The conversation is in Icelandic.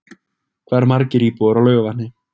Hvað eru margir íbúar á Laugarvatni?